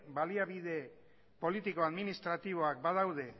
baliabide politiko administratiboak badaude